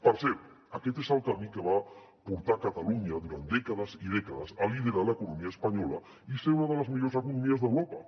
per cert aquest és el camí que va portar catalunya durant dècades i dècades a liderar l’economia espanyola i ser una de les millors economies d’europa